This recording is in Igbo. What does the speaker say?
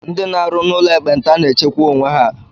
Ndị n'arụ n'ụlọ ekpenta na na-echekwa onwe ha.